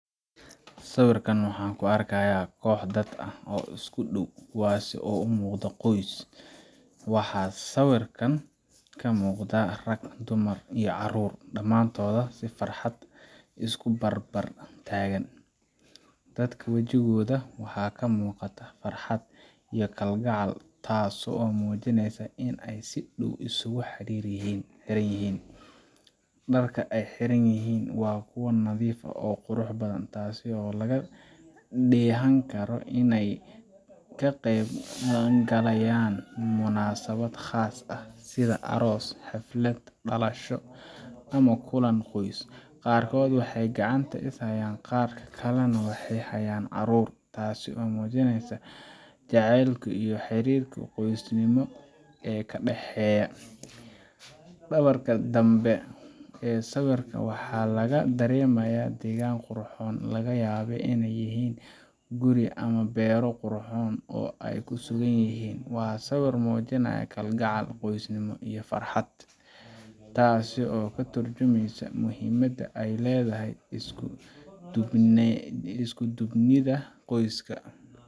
Siwirkan waxan ku argahaya qoh dad oo isku dow, kuwas oo umoqdoh qos, waxan sawirkan ka muqdah arag dumar iyo carur damntoda si farxad isku barbar tagan, dadka wajigoda waxa ka muqdatah farxad iyo kal gacal taas oo mujinaysoh in ay sidow isku xiriryihan, darka ay xiranyihin kuwa nadifa oo quruxbadan taasi oo ah laga dahanikaro inay ka qab qadankarayan muna sawad qasa ah sidee aros xaflad dalasho ama kulan qos qarkod waxay gacanta ay ku hastan kuwa kale nah waxay hayan carur taas oo mujinaysoh jacelka iyo xirirka qosnimo aa ka dahayo, dawarka damba, siwirka wax laga daramaya dagan qurxon laga yaba in inay yihin guri ama baro qurxon oo ay ku so dowaniihin wa siwir mujinayoh kal gacal qosnimo iyo farxad, taasi oo ka turjimasoh muhiimada aya ladahay isku dubnida qoska.